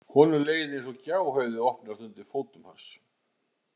Honum leið eins og gjá hefði opnast undir fótum hans.